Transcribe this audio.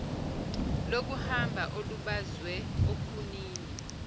lokuhamba olubazwe okhunini